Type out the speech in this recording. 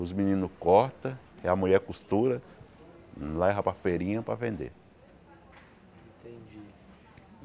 Os meninos cortam, e a mulher costura, leva para a feirinha para vender.